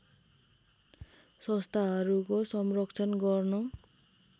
संस्थाहरूको संरक्षण गर्न